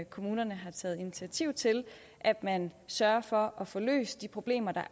kommunerne har taget initiativ til at man sørger for at få løst de problemer der